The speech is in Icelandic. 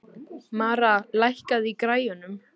Mara, lækkaðu í græjunum.